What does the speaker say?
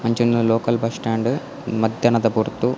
ಅಂಚಿಲ್ದ local bus stand ಮದ್ಯನದ ಪೊರ್ತು.